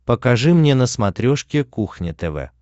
покажи мне на смотрешке кухня тв